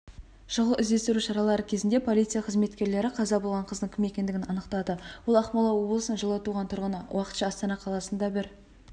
шұғыл-іздестіру шаралары кезінде полиция қызметкерлері қаза болған қыздың кім екендігін анықтады ол ақмола облысының жылы туған тұрғыны уақытша астана қаласында бір